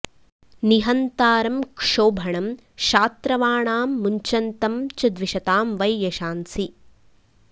निहन्तारं क्षोभणं शात्रवाणां मुञ्चन्तं च द्विषतां वै यशांसि